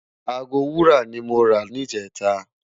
Aágó òwó wúrá ni mó rá nijètá